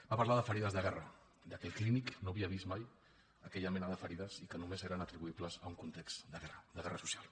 va parlar de ferides de guerra que al clínic no havia vist mai aquella mena de ferides i que només eren atribuïbles a un context de guerra de guerra social